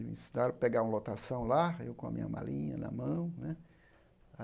Me ensinaram a pegar uma lotação lá, eu com a minha malinha na mão, né.